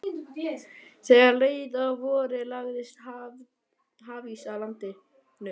Þegar leið að vori lagðist hafís að landinu.